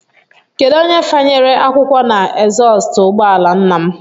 Kedụ onye fanyere akwụkwọ na ezọstụ ụgbọala nna m?